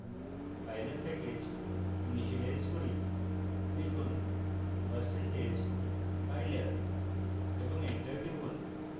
pylab package initialise করি লিখুন percentage pylab এবং enter টিপুন